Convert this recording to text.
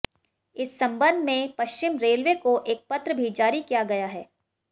इस संबंध में पश्चिम रेलवे को एक पत्र भी जारी किया गया है